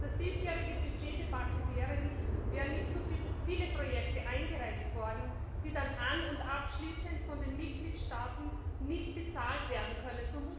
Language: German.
Das diesjährige Budgetdebakel gäbe es nicht, wären nicht so viele Projekte eingereicht worden, die dann an und abschließend von den Mitgliedstaaten nicht bezahlt werden können.